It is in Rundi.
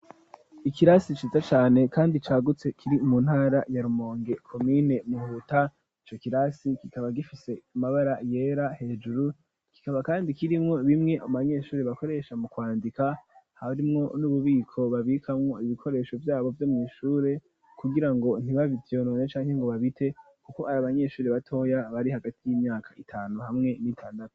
Ikirasi ciza cane kandi cagutse kiri mu ntara ya Rumonge komine Muhuta ico kirasi kikaba gifise amabara yera hejuru kikaba kandi kirimwo bimwe mubanyeshuri bakoresha mu kwandika, harimwo n'ububiko babikamwo ibikoresho vyabo vyo mwishure kugirango ntibavyonone canke ngo babite kuko ari abanyeshuri batoya bari hagati y'imyaka itanu hamwe n'itandatu.